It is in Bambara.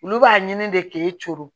Olu b'a ɲini de k'e coron